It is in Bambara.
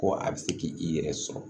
Ko a bɛ se k' i yɛrɛ sɔrɔ